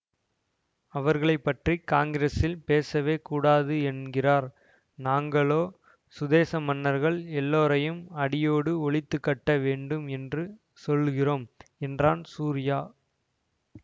அவர்களை பற்றி காங்கிரஸில் பேசவே கூடாது என்கிறார் நாங்களோ சுதேச மன்னர்கள் எல்லோரையும் அடியோடு ஒழித்து கட்ட வேண்டும் என்று சொல்லுகிறோம் என்றான் சூரியா